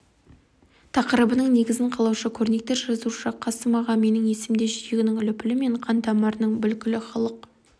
тақырыбының негізін қалаушы көрнекті жазушы қасым аға менің есімде жүрегінің лүпілі мен қан-тамырының бүлкілі халық